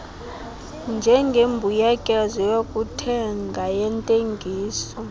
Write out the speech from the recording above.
njengembuyekezo yokuthenga yentengiso